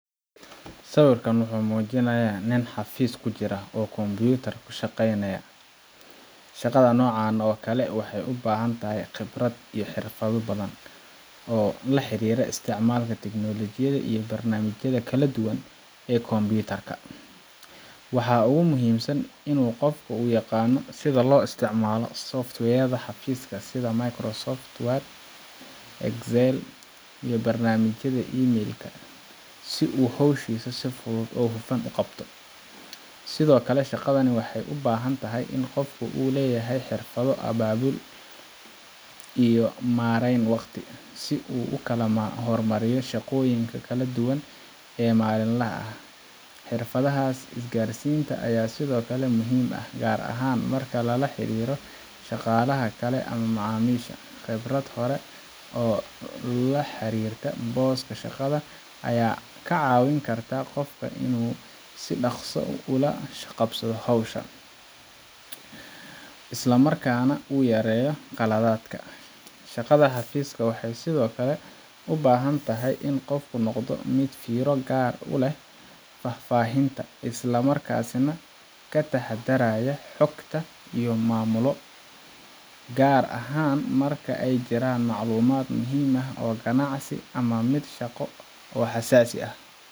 Sawirkaan wuxuu muujinayaa nin xafiis ku jira oo kombiyuutarka ka shaqeynaya. Shaqada noocan oo kale ah waxay u baahan tahay khibrad iyo xirfado badan oo la xiriira isticmaalka tiknoolajiyada iyo barnaamijyada kala duwan ee kombiyuutarka. Waxa ugu muhiimsan waa in qofka uu yaqaan sida loo isticmaalo software yada xafiiska sida Microsoft Word, Excel, iyo barnaamijyada emai l-ka, si uu hawshiisa si fudud oo hufan u qabto. Sidoo kale, shaqadani waxay u baahan tahay in qofka uu leeyahay xirfado abaabul iyo maarayn waqti, si uu u kala hormariyo shaqooyinka kala duwan ee maalinlaha ah. Xirfadahas isgaarsiinta ayaa sidoo kale muhiim ah, gaar ahaan marka lala xiriiro shaqaalaha kale ama macaamiisha. Khibrad hore oo la xiriirta booska shaqada ayaa ka caawin karta qofka inuu si dhakhso ah ula qabsado howsha, islamarkaana uu yareeyo qaladaadka. Shaqada xafiiska waxay sidoo kale u baahan tahay in qofku noqdo mid fiiro gaar ah u leh faahfaahinta, isla markaana ka taxadaraya xogta uu maamulo, gaar ahaan marka ay jiraan macluumaad muhiim ah oo ganacsi ama mid shaqo oo xasaasi ah.